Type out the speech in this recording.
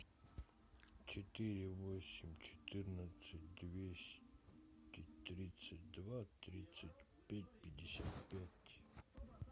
четыре восемь четырнадцать двести тридцать два тридцать пять пятьдесят пять